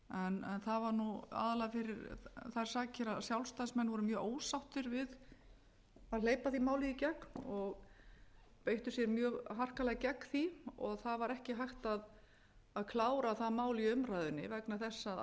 en það var nú aðallega fyrir þær sakir að sjálfstæðismenn voru mjög ósáttir við hleypa því máli í gegn og beittu sér mjög harkalega gegn því það var ekki hægt að klára það mál í umræðunni vegna þess að alþingiskosningar voru